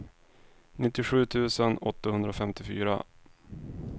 nittiosju tusen åttahundrafemtiofyra